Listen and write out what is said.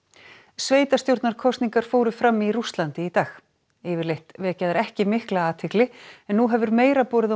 sveitarstjórnarkosningar fara fram í Rússlandi í dag yfirleitt vekja þær ekki mikla athygli en nú hefur meira borið á